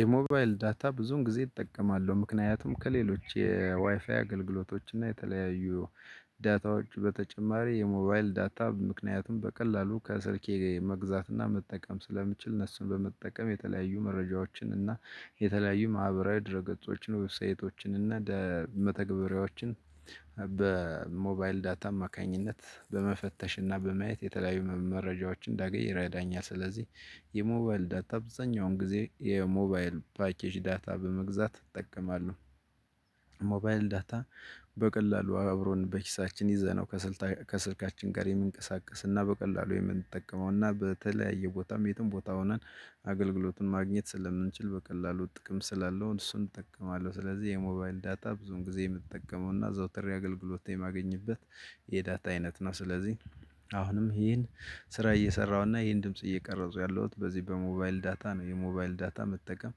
የሞባይል ዳታ ብዙን ጊዜ እጠቀማለሁ ምክንያቱም ከሌሎች የዋይፋይ አገልግሎቶች እና የተለያዩ ዳታዎች በተጨማሪ የሞባይል ዳታ ምክንያቱም በቀላሉ ከስልኬ መግዛት እና መጠቀም ስለምችል እነሱን በመጠቀም የተለያዩ መረጃዎችን እና የተለያዩ ማህበራዊ ድረ ገጾችን ዌብሳይቶችን እና መተግበሪያዎችን በሞባይል ዳታ አማካኝነት በመፈተሽ እና በማየት የተለያዩ መረጃዎችን እንዳገኝ ይረዳኛል። ስለዚህ የሞባይል ዳታ አብዛኛውን ጊዜ የሞባይል ፓኬጅ ዳታ በመግዛት እጠቀማለሁ። ሞባይል ዳታ በቀላሉ አብሮን በኪሳችን ይዘነው ከስልካችን ጋር የሚንቀሳቀስ እና በቀላሉ የምንጠቀመው እና በተለያየ ቦታም የትም ቦታ ሆነን አገልግሎትን ማግኘት ስለምንችል በቀላሉ ጥቅም ስላለው እሱን እጠቀማለሁ። ስለዚህ የሞባይል ዳታ ብዙውን ጊዜ የምጠቀመው እና አዘውትሬ አገልግሎት የማገኝበት የዳታ አይነት ነው። ስለዚህ አሁንም ይሄን ስራ እየሰራሁ እና ይሄን ድምጽ እየቀረጹ ያለሁት በዚህ በሞባይል ዳታ ነው። የሞባይል ዳታ መጠቀም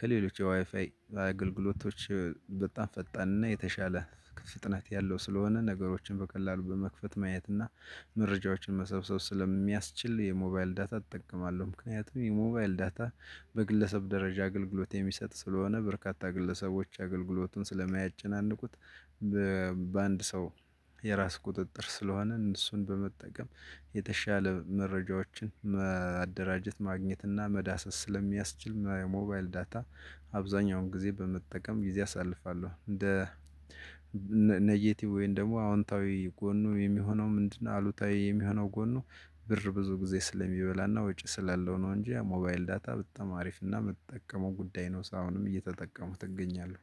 ከሌሎች የዋይፋይ አገልግሎቶች በጣም ፈጣን እና የተሻለ ፍጥነት ያለው ስለሆነ። ነገሮችን በቀላሉ በመክፈት ማየት እና መረጃዎችን መሰብሰብ ስለሚያስችል የሞባይል ዳታ እጠቀማለሁ። ምክንያቱም የሞባይል ዳታ በግለሰብ ደረጃ አገልግሎት የሚሰጥ ስለሆነ በርካታ ግለሰቦች አገልግሎቱን ስለማያጨናንቁት። በአንድ ሰው የራስ ቁጥጥር ስለሆንን እሱን በመጠቀም የተሻለ መረጃዎችን ማደራጀት ማግኘት እና መዳሰስ ስለሚያስችል። ሞባይል ዳታ አብዛኛውን ጊዜ በመጠቀም ጊዜ አሳልፋለሁ። እንደ ኔጌቲቭ ወይም ደግሞ ጎኑ የሚሆነው ምንድነው? አሉታዊ የሚሆነው ጎኑ ብር ብዙ ጊዜ ስለሚበላ እና ወጪ ስላለው ነው። እንጂ ሞባይል ዳታ በጣም አሪፍ እና የምጠቀመው ጉዳይ ነው። እስካሁንም እየተጠቀምኩት እገኛለሁ።